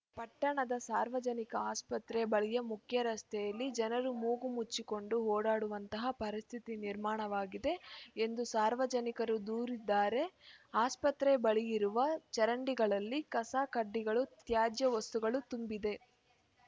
ಪಟ್ಟಣದ ಸಾರ್ವಜನಿಕ ಆಸ್ಪತ್ರೆ ಬಲ್ಗೆಯ ಮುಖ್ಯರಸ್ತೆಯಲ್ಲಿ ಜನರು ಮೂಗು ಮುಚ್ಚಿಕೊಂಡು ಓಡಾಡುವಂತಹ ಪರಿಸ್ಥಿತಿ ನಿರ್ಮಾಣವಾಗಿದೆ ಎಂದು ಸಾರ್ವಜನಿಕರು ದೂರಿದ್ದಾರೆ ಆಸ್ಪತ್ರೆ ಬಳಿ ಇರುವ ಚರಂಡಿಗಳಲ್ಲಿ ಕಸ ಕಡ್ಡಿಗಳು ತ್ಯಾಜ್ಯ ವಸ್ತುಗಳು ತುಂಬಿದೆ